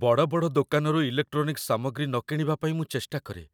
ବଡ଼ ବଡ଼ ଦୋକାନରୁ ଇଲେକ୍ଟ୍ରୋନିକ୍ସ ସାମଗ୍ରୀ ନ କିଣିବା ପାଇଁ ମୁଁ ଚେଷ୍ଟା କରେ,